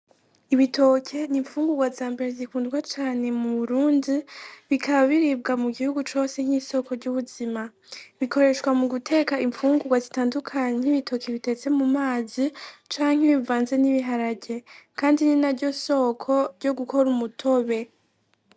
Ibitoke n'imfugurwa zambere zikundwa cane mu Burundi, bikaba biribwa mu gihugu cose nk'isoko ry'ubuzima, bikoreshwa mu guteka imfungurwa zitandukanye, nk'ibitoke bitetse mu mazi, canke bivanze n'ibiharage, kandi ni naryo soko ryo gukora umutobe.